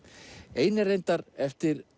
ein er reyndar eftir